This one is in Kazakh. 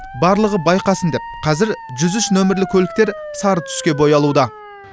барлығы байқасын деп қазір жүз үш нөмірлі көліктер сары түске боялуда